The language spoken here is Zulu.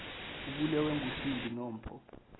ubulewe ngusindi nompho